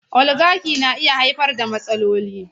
Oligaki na iya haifar da matsaloli.